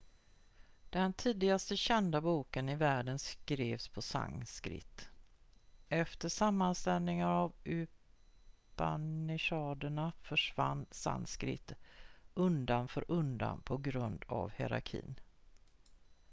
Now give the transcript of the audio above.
den tidigaste kända boken i världen skrevs på sanskrit efter sammanställningen av upanishaderna försvann sanskrit undan för undan på grund av hierarki